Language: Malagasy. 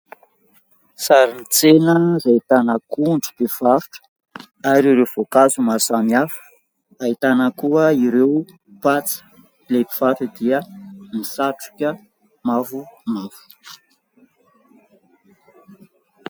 Sarin'ny tsena izay ahitana akondro, mpivarotra ary ireo voankazo maro samy hafa. Ahitana koa ireo patsa, ilay mpivarotra dia misatroka mavomavo.